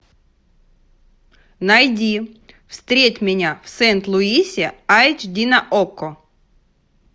найди встреть меня в сент луисе айч ди на окко